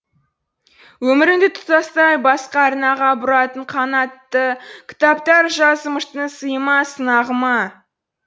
өміріңді тұтастай басқа арнаға бұратын қанатты кітаптар жазымыштың сиы ма сынағы ма